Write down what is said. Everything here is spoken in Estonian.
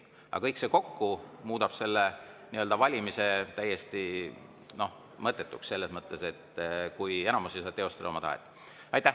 Aga kõik kokku muudab valimise täiesti mõttetuks, selles mõttes et enamus ei saa teostada oma tahet.